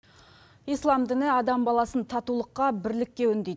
ислам діні адам баласын татулыққа бірлікке үндейді